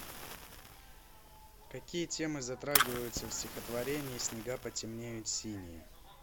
какие темы затрагиваются в стихотворении снега потемнеют синие